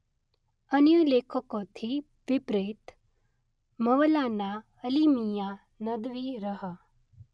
અન્ય લેખકોથી વિપરીત મવલાના અલી મીયાં નદવી રહ.